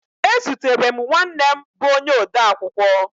Ezutere m nwanne m bụ onye odeakwụkwọ